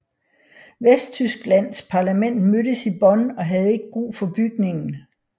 Vesttysklands parlament mødtes i Bonn og havde ikke brug for bygningen